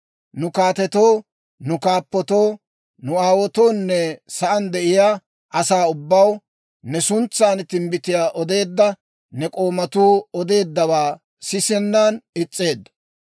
Nu kaatetoo, nu kaappatoo, nu aawaatoonne sa'aan de'iyaa asaa ubbaw ne suntsan timbbitiyaa odeedda ne k'oomatuu odeeddawaa sisennan is's'eeddo.